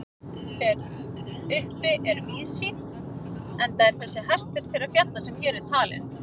Þar uppi er víðsýnt enda er þessi hæstur þeirra fjalla sem hér eru talin.